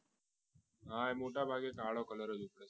હા મોટાભાગે કાળો કલર જ ઉપડે છે